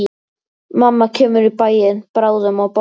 Mamma kemur í bæinn bráðum og borgar.